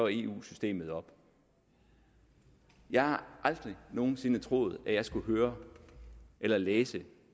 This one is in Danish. eu systemet op at jeg aldrig nogen sinde havde troet at jeg skulle høre eller læse